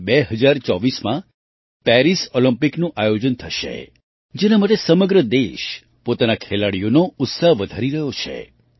હવે 2024માં પેરિસ ઑલિમ્પિકનું આયોજન થશે જેના માટે સમગ્ર દેશ પોતાના ખેલાડીઓનો ઉત્સાહ વધારી રહ્યો છે